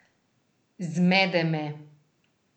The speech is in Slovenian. Zmede me.